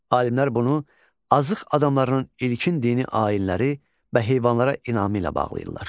Alimlər bunu Azıq adamlarının ilkin dini ayinləri və heyvanlara inamı ilə bağlayırlar.